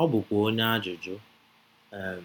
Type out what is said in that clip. ọ bụkwa onye ajụjụ. um